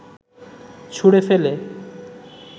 ছুড়ে ফেলে